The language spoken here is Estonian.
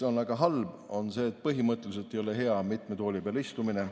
Väga halb on, põhimõtteliselt ei ole hea mitme tooli peal istumine.